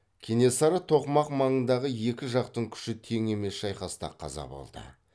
кенесары тоқмақ маңындағы екі жақтың күші тең емес шайқаста қаза болды